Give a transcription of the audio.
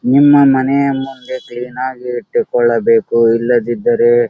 ನಿಮ್ಮ ಮನೆಯ ಮುಂದೆ ಕ್ಲೀನಾಗಿ ಇಟ್ಟುಕೊಳ್ಳಬೇಕು ಇಲ್ಲದಿದ್ದರೆ --